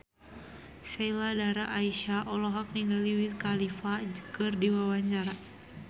Sheila Dara Aisha olohok ningali Wiz Khalifa keur diwawancara